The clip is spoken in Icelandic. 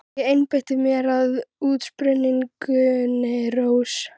Ég einbeiti mér að útsprunginni rós.